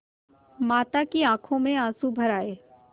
माता की आँखों में आँसू भर आये